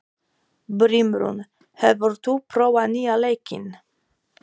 Brimrún, hefur þú prófað nýja leikinn?